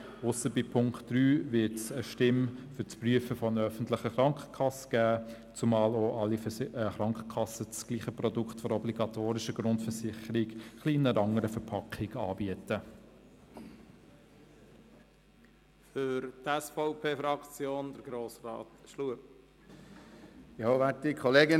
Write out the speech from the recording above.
Nur bei Punkt 3 wird es eine Stimme für das Prüfen einer öffentlichen Krankenkasse geben, zumal auch alle Krankenkassen das gleiche Produkt für die obligatorische Grundversicherung in einer ein wenig anderen Verpackung anbieten.